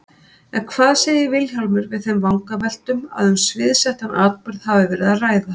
En hvað segir Vilhjálmur við þeim vangaveltum að um sviðsettan atburð hafi verið að ræða?